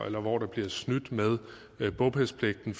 eller hvor der bliver snydt med bopælspligten